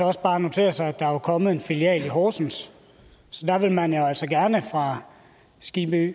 også bare notere sig at der er kommet en filial i horsens så der vil man jo altså gerne fra